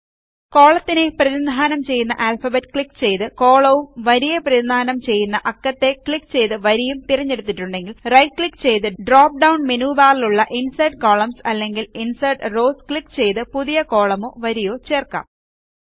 കോളത്തിനെ പ്രതിനിധാനം ചെയ്യുന്ന alphabet click ചെയ്തു കോളവും വരിയെ പ്രതിനിധാനം ചെയ്യുന്ന അക്കത്തെ ക്ലിക്ക് ചെയ്തു വരിയും തിരഞ്ഞെടുത്തിട്ടുണ്ടെങ്കിൽ റൈറ്റ് ക്ലിക്ക് ചെയ്തു ഡ്രോപ് ഡൌൺ മെനു ബാറിലുള്ള ഇൻസെർട്ട് കോളംൻസ് അല്ലെങ്കിൽ ഇൻസെർട്ട് റൌസ് ക്ലിക്ക് ചെയ്തു പുതിയ കോളമോ വരിയോചേർക്കാം